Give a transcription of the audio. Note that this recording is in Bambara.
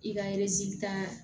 I ka ta